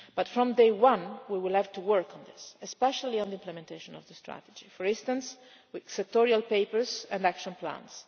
From day one we will have to work on this, especially on the implementation of the strategy, for instance with sectorial papers and action plans.